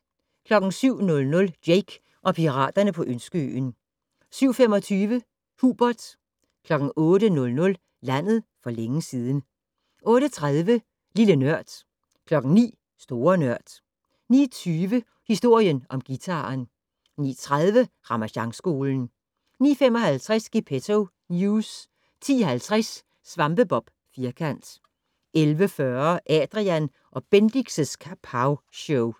07:00: Jake og piraterne på Ønskeøen 07:25: Hubert 08:00: Landet for længe siden 08:30: Lille Nørd 09:00: Store Nørd 09:20: Historien om guitaren 09:30: Ramasjangskolen 09:55: Gepetto News 10:50: SvampeBob Firkant 11:40: Adrian & Bendix' Kapowshow